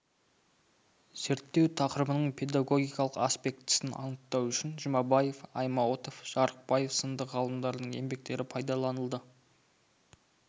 зерттеу тақырыбының педагогикалық аспектісін анықтау үшін жұмабаев аймауытов жарықбаев сынды ғалымдардың еңбектері пайдаланылды